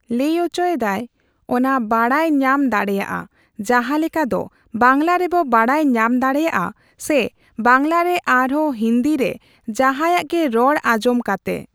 ᱞᱟᱹᱭ ᱚᱪᱚᱭᱮᱫᱟᱭ᱾ ᱚᱱᱟ ᱵᱟᱲᱟᱭ ᱧᱟᱢ ᱫᱟᱲᱮᱭᱟᱜᱼᱟ᱾ ᱡᱟᱦᱟᱸᱞᱮᱠᱟ ᱫᱚ ᱵᱟᱝᱞᱟ ᱨᱮ ᱵᱚ ᱵᱟᱲᱟᱭ ᱧᱟᱢ ᱫᱟᱲᱮᱭᱟᱜᱼᱟ ᱥᱮ ᱵᱟᱝᱞᱟ ᱨᱮ ᱟᱨᱦᱚᱸ ᱦᱤᱱᱫᱤ ᱨᱮ ᱡᱟᱦᱟᱸᱭᱟᱜ ᱜᱮ ᱨᱚᱲ ᱟᱸᱡᱚᱢ ᱠᱟᱛᱮ᱾